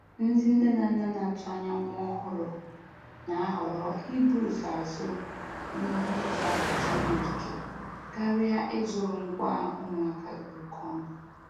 Ndị nne na nna na-atụanya nwa ọhụrụ na-ahọrọ ibu ụzọ azụ ihe e ihe e ji awachi nwa ike karịa ịzụrụ ngwa ụmụaka dị oke ọnụ.